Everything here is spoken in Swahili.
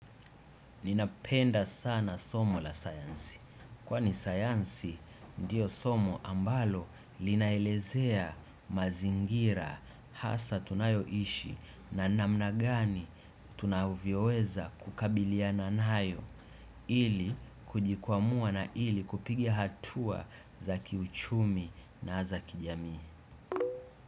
Ninapenda sana somo la sayansi, kwani sayansi ndiyo somo ambalo linaelezea mazingira, hasa tunayoishi na namnagani tunavioweza kukabilia nanayo, ili kujikwamua na ili kupigia hatua za kiuchumi na za kijami.